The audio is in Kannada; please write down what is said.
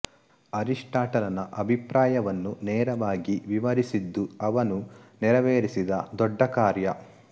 ಅರಿಸ್ಟಾಟಲನ ಅಭಿಪ್ರಾಯವನ್ನು ನೇರವಾಗಿ ವಿವರಿಸಿದ್ದು ಅವನು ನೆರವೇರಿಸಿದ ದೊಡ್ಡ ಕಾರ್ಯ